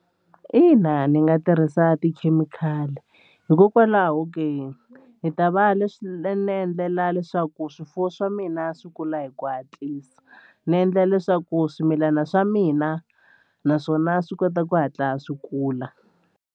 Ina ndzi nga tirhisa tikhemikhali hikokwalaho ke ni ta va leswi ni endlela leswaku swifuwo swa mina swi kula hi ku hatlisa ni endlela leswaku swimilana swa mina naswona swi kota ku hatla swi kula.